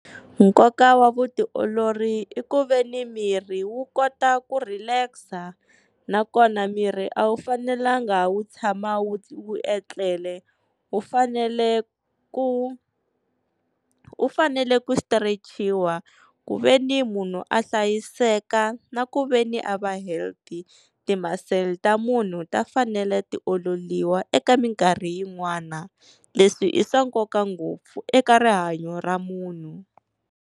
Nkoka wa vutiolori i ku veni miri wu kota ku relax, nakona miri a wu fanelanga wu tshama wu wu etlela wu fanele ku wu fanele ku sitirechiwa ku veni munhu a hlayiseka na ku veni a va healthy. Timasele ta munhu ta fanele ti ololiwa eka minkarhi yin'wana leswi i swa nkoka ngopfu eka rihanyo ra munhu.